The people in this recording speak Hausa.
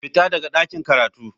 Fita daga ɗakin karatu.